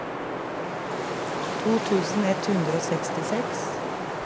to tusen ett hundre og sekstiseks